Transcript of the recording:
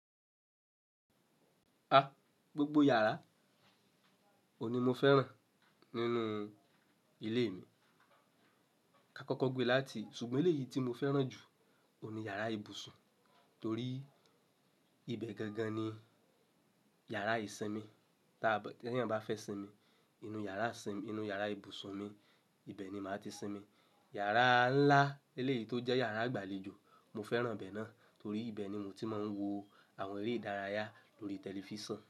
A, gbogbo yàrá ò ní mo fẹ́ràn nínú ilé mi ká kọ́kọ́ gbe láti, ṣùgbọ́n ilé yìí tí mo fẹ́ràn jù ò ní yàrá ibùsùn torí ibẹ̀ gangan ni yàrá ìsinmi. Tí èyàn bá fẹ́ sinmi, inú yàrá ìbùsùn mi, ibẹ̀ ni màá ti sinmi. Yàrá ńlá eléyí tó jẹ́ yàrá ìgbàlejò, mo fẹ́ràn bẹ́ẹ̀ náà torí ibẹ̀ ni mo ti máa ń wo àwọn eré ìdárayá lórí tẹlifísàn.